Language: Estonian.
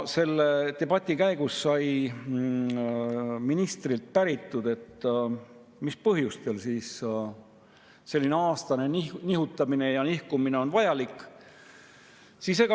Selle debati käigus sai ministrilt päritud, mis põhjustel selline aastane nihutamine ja nihkumine on vajalik.